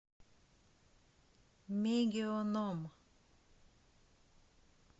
мегионом